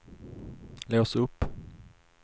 lås upp